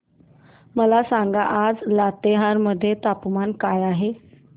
मला सांगा आज लातेहार मध्ये तापमान काय आहे